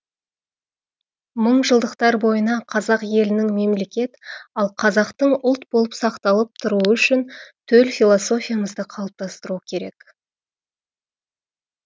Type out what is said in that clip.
мыңжылдықтар бойына қазақ елінің мемлекет ал қазақтың ұлт болып сақталып тұруы үшін төл философиямызды қалыптастыру керек